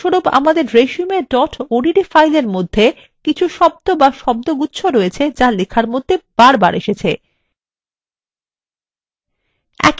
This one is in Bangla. উদাহরণস্বরূপ আমাদের resume odt file মধ্যে কিছু শব্দ be শব্দগুচ্ছ রয়েছে যা লেখার মধ্যে বারবার এসেছে